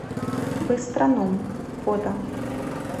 быстроном фото